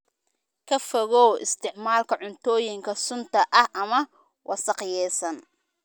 Ka fogow isticmaalka cuntooyinka sunta ah ama wasakhaysan.